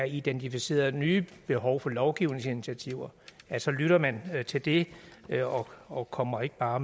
identificeres nye behov for lovgivningsinitiativer så lytter man til det og kommer ikke bare